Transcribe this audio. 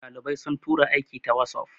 dalibai sun tura aiki ta wasof